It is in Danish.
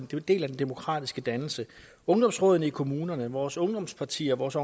en del af den demokratiske dannelse ungdomsrådene i kommunerne vores ungdomspartier vores